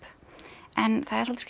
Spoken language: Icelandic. en það er svolítið skrýtið